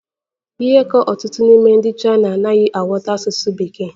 Ihe ka ọtụtụ n'ime ndị Chaina anaghị aghọta asụsụ Bekee.